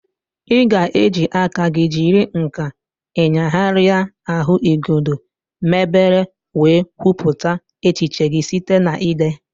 Ị ga-eji aka gị jiri nkà ịnyagharịa ahụigodo mebere wee kwupụta echiche gị site na ide.